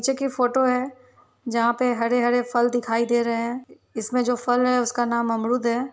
चे की फोटो है जहाँ पे हरे हरे फल दिखाई दे रहे हैं | इसमें जो फल है उसका नाम अमरुद है।